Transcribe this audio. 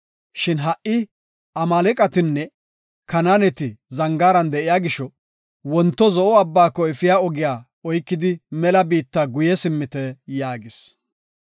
Shin ha77i Amaaleqatinne Kanaaneti zangaaran de7iya gisho, wonto Zo7o Abbaako efiya ogiya oykidi mela biitta guye simmite” yaagis.